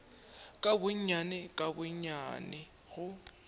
ka gonnyane ka gonnyane go